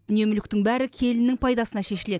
дүние мүліктің бәрі келінінің пайдасына шешіледі